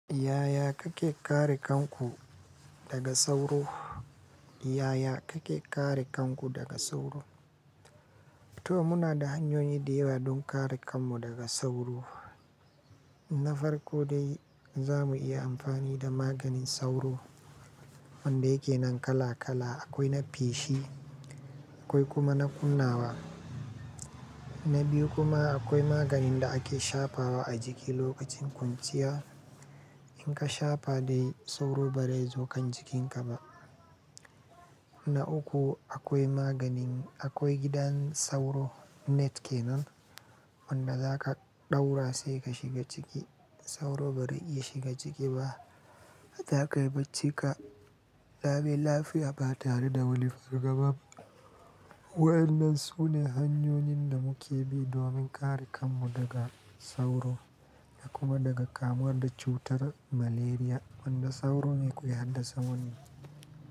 Yaya kake kare kanku daga sauro? Yaya kake kare kanku daga sauro? To muna da hanyoyi da yawa don kare kanmu daga sauro. Na farko dai za mu iya amfani da maganin sauro wanda yake nan kala kala. Akwai na feshi akwai kuma na kunnawa. Na biyu kuma akwai maganin da ake shafa wa a jiki lokacin kunciya. In ka shafa dai sauro ba zai zo kan jikinka ba. Na uku akwai magani, akwai gidan sauro net kenan wanda za ka ɗaura sai ka shiga ciki. Sauro ba zai iya shiga ciki ba. Zakai baccika. Lami lafiya ba tare da wani far gaba. Wa'yannan sune hanyoyin da muke bi domin kare kanmu daga sauro da kuma daga kamuwa da cutar malaria wanda sauro ne ke haddasa wani.